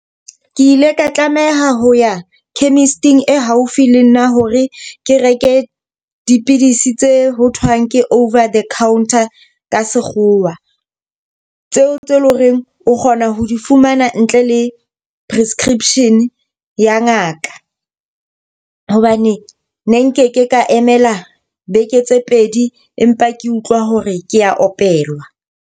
Ke ile ka tlameha ho ya chemist-ing e haufi le nna hore ke reke dipidisi tse ho thwang ke over the counter ka sekgowa, Tseo tse leng horeng o kgona ho di fumana ntle le prescription ya ngaka. Hobane ne nkeke ka emela beke tse pedi empa ke utlwa hore ke a opelwa.